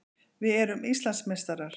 Við erum Íslandsmeistarar!